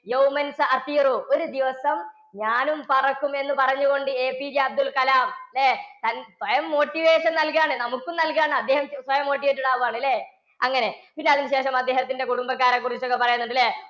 ഒരു ദിവസം ഞാനും പറക്കുമെന്ന് പറഞ്ഞുകൊണ്ട് APJ അബ്ദുള്‍കലാം ല്ലേ? തന്‍~ സ്വയം motivation നല്‍കാണ്. നമുക്കും നല്കാണ്. അദ്ദേഹം സ്വയം motivated ആവാണ് ല്ലേ? അങ്ങനെ പിന്നെ അതിനു ശേഷം അദ്ദേഹത്തിന്റെ കുടുംബക്കാരെ കുറിച്ചൊക്കെ പറയുന്നുണ്ട് ഇല്ലേ?